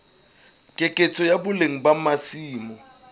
keketseho ya boleng ba masimo